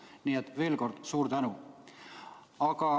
Nii et veel kord, suur tänu!